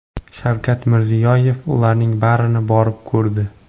Shavkat Mirziyoyev ularning barini borib ko‘rdi.